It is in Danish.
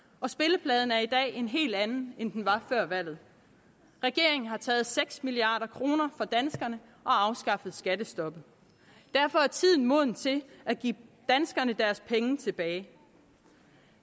og spillefladen er i dag en helt anden end den var før valget regeringen har taget seks milliard kroner fra danskerne og afskaffet skattestoppet derfor er tiden moden til at give danskerne deres penge tilbage